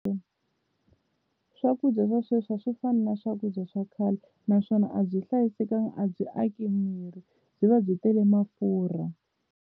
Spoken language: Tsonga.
Swakudya swa sweswi a swi fani na swakudya swa khale naswona a byi hlayisekangi a byi aki miri byi va byi tele mafurha.